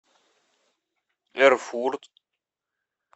эрфурт